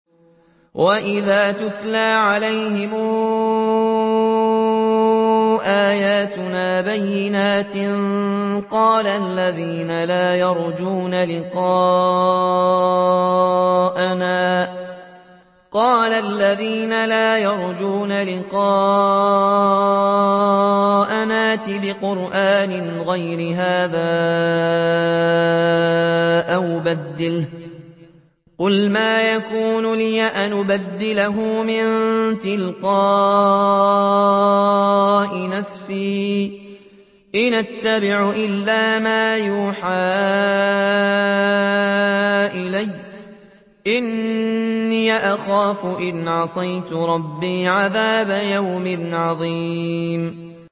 وَإِذَا تُتْلَىٰ عَلَيْهِمْ آيَاتُنَا بَيِّنَاتٍ ۙ قَالَ الَّذِينَ لَا يَرْجُونَ لِقَاءَنَا ائْتِ بِقُرْآنٍ غَيْرِ هَٰذَا أَوْ بَدِّلْهُ ۚ قُلْ مَا يَكُونُ لِي أَنْ أُبَدِّلَهُ مِن تِلْقَاءِ نَفْسِي ۖ إِنْ أَتَّبِعُ إِلَّا مَا يُوحَىٰ إِلَيَّ ۖ إِنِّي أَخَافُ إِنْ عَصَيْتُ رَبِّي عَذَابَ يَوْمٍ عَظِيمٍ